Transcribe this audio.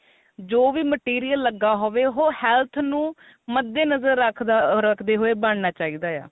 ਜੋ ਵੀ material ਲੱਗਾ ਹੋਵੇ ਉਹ health ਨੂੰ ਮੱਦੇ ਨਜ਼ਰ ਰਖਦੇ ਹੋਏ ਬਣਨਾ ਚਾਹੀਦਾ ਆ